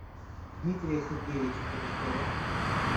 дмитрия сергеевича корешкова